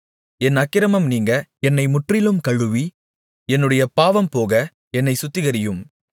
என் அக்கிரமம் நீங்க என்னை முற்றிலும் கழுவி என்னுடைய பாவம்போக என்னைச் சுத்திகரியும்